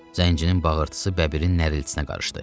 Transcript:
Zəncirin bağırtısı bəbirin narıltısına qarışdı.